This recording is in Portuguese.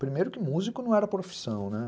Primeiro que músico não era profissão, né?